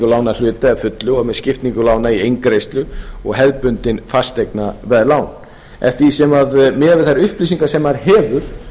lána að hluta eða fullu og skiptingu lána í eingreiðslu og hefðbundin fasteignaveðlán eftir því sem miðað við þær upplýsingar sem maður hefur